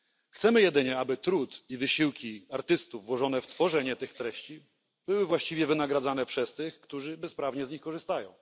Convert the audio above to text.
Chcemy jedynie, aby trud i wysiłki artystów włożone w tworzenie tych treści były właściwie wynagradzane przez tych, którzy bezprawnie z nich korzystają.